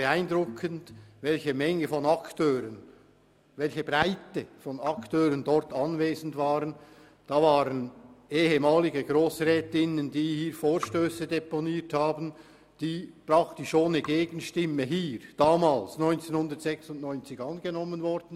Beeindruckend war, welche Menge und Breite von Akteuren dort anwesend war: ehemalige Grossrätinnen, die hier Vorstösse deponiert haben, die 1996 praktisch ohne Gegenstimmen angenommen wurden.